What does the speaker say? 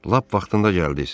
Lap vaxtında gəldiniz.